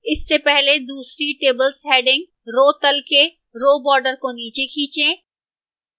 इससे पहले दूसरी tables heading row तल के row border को नीचे खींचें